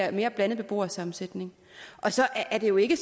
en mere blandet beboersammensætning så er det jo ikke